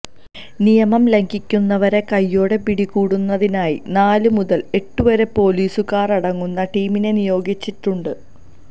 നിയമം ലംഘിക്കുന്നവരെ കൈയോടെ പിടികൂടുന്നതിനായി നാല് മുതല് എട്ട് വരെ പോലീസുകാരടങ്ങുന്ന ടീമിനെ നിയോഗിച്ചിട്ടുണ്ട്